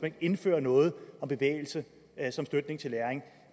ikke indfører noget om bevægelse som støtte til læring